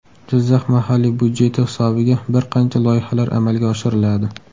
Jizzax mahalliy byudjeti hisobiga bir qancha loyihalar amalga oshiriladi.